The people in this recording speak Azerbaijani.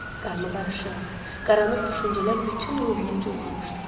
Qarma-qarışıq, qaranlıq düşüncələr bütün ruhumu cuğğamışdı.